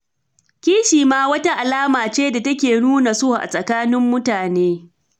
Kishi shi ma wata alama ce da take nuna so a tsakanin mutane.